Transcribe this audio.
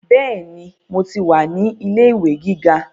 Bẹ́ẹ̀ni, mo ti wà ní ilé ìwé gíga